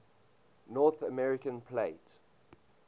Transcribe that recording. north american plate